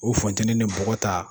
O funtɛni ni bɔgɔ ta.